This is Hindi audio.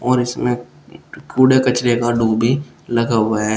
और इसमें कूड़े कचरे का लगा हुआ है।